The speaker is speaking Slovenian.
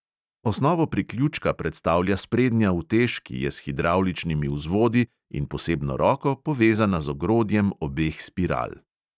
Osnovo priključka predstavlja sprednja utež, ki je s hidravličnimi vzvodi in posebno roko povezana z ogrodjem obeh spiral.